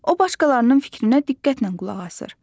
O başqalarının fikrinə diqqətlə qulaq asır.